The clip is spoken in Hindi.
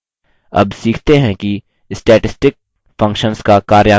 अब सीखते हैं कि statistic functions का कार्यान्वन कैसे करें